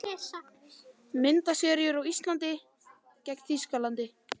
Myndasería úr ÍSLAND- Þýskaland